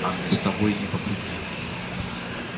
а мне с тобой не по пути